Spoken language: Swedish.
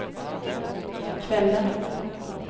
kvällen